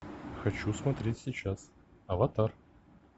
хочу смотреть сейчас аватар